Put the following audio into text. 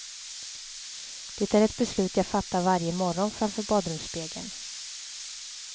Det är ett beslut jag fattar varje morgon framför badrumsspegeln.